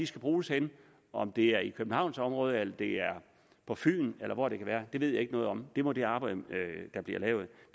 skal bruges henne om det er i københavnsområdet eller det er på fyn eller hvor det kan være ved jeg ikke noget om det må det arbejde der bliver lavet